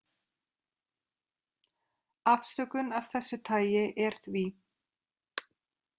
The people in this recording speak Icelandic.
Afsökun af þessu tagi er því.